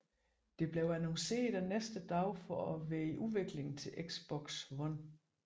Det blev annonceret den næste dag for at være i udvikling til Xbox One